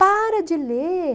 Para de ler.